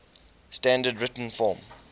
standard written form